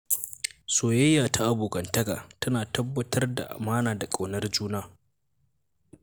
Soyayya ta abokantaka tana tabbatar da amana da ƙaunar juna.